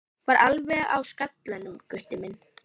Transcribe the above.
Var alveg á skallanum, Gutti minn.